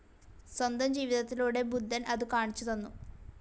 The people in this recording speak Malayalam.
സ്വന്തം ജീവിതത്തിലൂടെ ബുദ്ധൻ അതു കാണിച്ചു തന്നു.